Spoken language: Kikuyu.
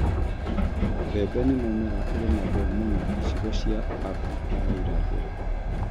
Mbembe nĩ mũmera ũrĩmagwo mũno icigo cia Abirika ya Irathĩro.